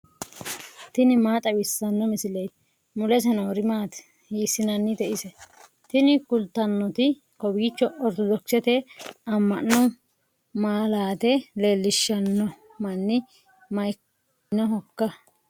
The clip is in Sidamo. tini maa xawissanno misileeti ? mulese noori maati ? hiissinannite ise ? tini kultannori kowiicho ortodokisete amma'no malaate leellishsanno manni maikkinohoikka